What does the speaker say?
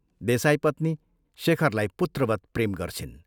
देसाईपत्नी शेखरलाई पुत्रवत प्रेम गर्छिन्।